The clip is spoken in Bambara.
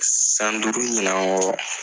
San duuru ɲinan kɔ